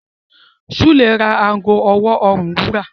Sule rà àgọ ọwọ orùn wúrà.